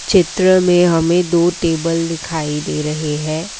चित्र में हमें दो टेबल दिखाई दे रहे है।